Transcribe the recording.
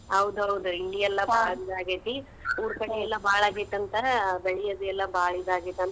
ಹೌದ್ ಹೌದ್ ಇಲ್ಲಿ ಎಲ್ಲಾ ಬಾಳ್ ಇದಾಗೇತಿ ಊರ್ಕಡೆ ಎಲ್ಲಾ ಬಾಳ್ ಆಗೇತಿ ಅಂತಾ ಬೆಳಿ ಎಲ್ಲಾ.